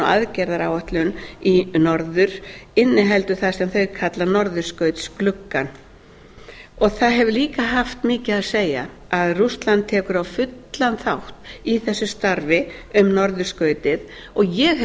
aðgerðaáætlun í norður inniheldur það sem þau kalla norðurskautsgluggann það hefur líka haft mikið að segja að rússland tekur fullan þátt í þessu starfi um norðurskautið og ég hef